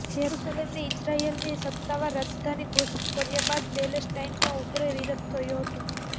જેરૂસલેમને ઇઝરાયલની સત્તાવાર રાજધાની ઘોષિત કર્યા બાદ પેલેસ્ટાઇનમાં ઉગ્ર વિરોધ થયો હતો